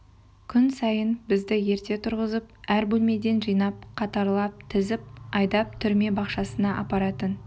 күн сайын бізді ерте тұрғызып әр бөлмеден жинап қатарлап тізіп айдап түрме бақшасына апаратын